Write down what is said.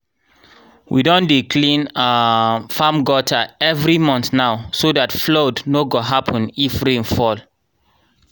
we don dey clean um farm gutter every month now so that flood nor go happen if rain fall